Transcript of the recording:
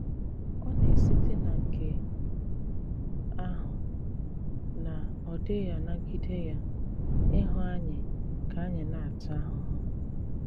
Ọ na-esìtè na nke àhụ, na ọ̀ dịghị̀ anàgìdé ya ịhụ ànyị̀ ka ànyị̀ na-àtà àhụhụ.